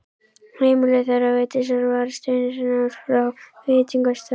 Heimili þeirra Vigdísar var steinsnar frá veitingastaðnum.